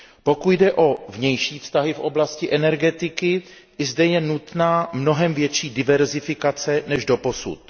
Pokud jde o vnější vztahy v oblasti energetiky, i zde je nutná mnohem větší diverzifikace než doposud.